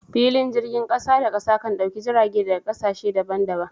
Filin jirgin kasa da kasa kan dauki jirage daga kasashe daban daban.